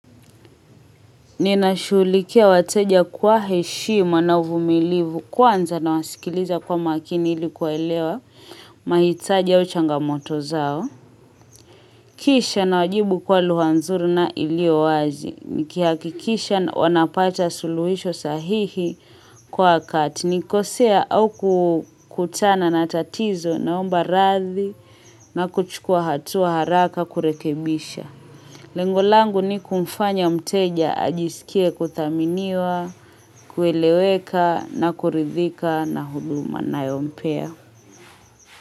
Ninashuhulikia wateja kwa heshima na uvumilivu kwanza na wasikiliza kwa makini ilikuwaelewa mahitaji au changa moto zao. Kisha na wajibu kwa lugha nzuri na iliyo wazi. Nikihakikisha wanapata suluhisho sahihi kwa katinikosea au kutana na tatizo naomba radhi na kuchukua hatua haraka kurekebisha. Lengolangu ni kumfanya mteja ajisikie kuthaminiwa, kueleweka na kuridhika na huduma nayompea.